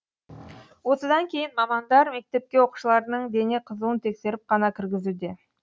осыдан кейін мамандар мектепке оқушылардың дене қызуын тексеріп қана кіргізуде